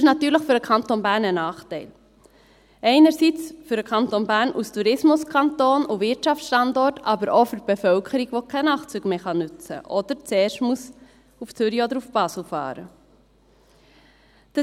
Das ist natürlich für den Kanton Bern ein Nachteil – einerseits für den Kanton Bern als Tourismuskanton und Wirtschaftsstandort, andererseits auch für die Bevölkerung, die keine Nachtzüge mehr nutzen kann oder zuerst nach Zürich oder Basel fahren muss.